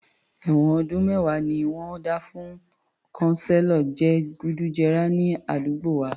Èwọ̀n ọdún mẹ́wàá ni wọ́n dá fún kanselo je gùdù jẹrà ní àdúgbò wa